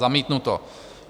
Zamítnuto.